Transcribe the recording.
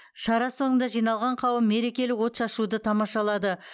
шара соңында жиналған қауым мерекелік отшашуды тамашалады